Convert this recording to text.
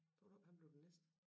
Tror du han bliver den næste